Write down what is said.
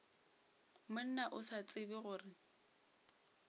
monna o sa tsebe gore